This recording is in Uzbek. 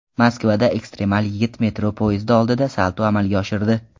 Moskvada ekstremal yigit metro poyezdi oldida salto amalga oshirdi.